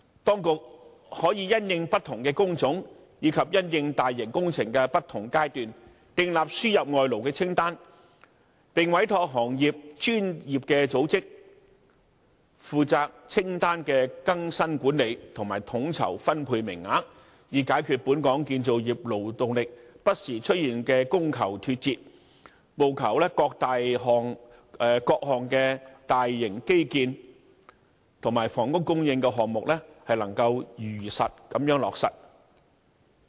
當局可以因應不同的工種及大型工程的不同階段，訂立輸入外勞的清單，並委託行業內的專業組織負責清單的更新管理，以及統籌分配名額，以解決本港建造業勞動力不時出現的供求脫節問題，務求各項大型基建和房屋供應的項目能夠如期落實。